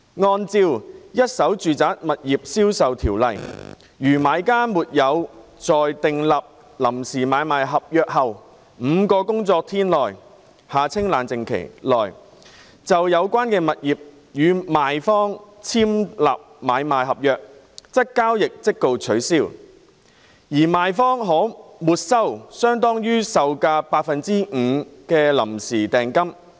按照《一手住宅物業銷售條例》，如買家沒有在訂立臨時買賣合約後5個工作日內，就有關物業與賣方簽立買賣合約，則交易即告取消，而賣方可沒收相當於售價百分之五的臨時訂金。